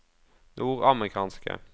nordamerikanske